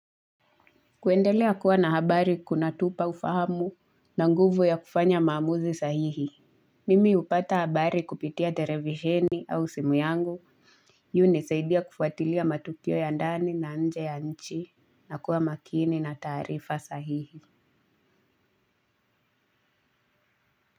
Kuendelea kuwa na habari kunatupa ufahamu na nguvu ya kufanya maamuzi sahihi. Mimi hupata habari kupitia televisheni au simu yangu hunisaidia kufuatilia matukio ya ndani na nje ya nchi na kuwa makini na taarifa sahihi.